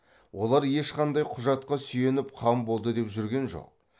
олар ешқандай құжатқа сүйеніп хан болды деп жүрген жоқ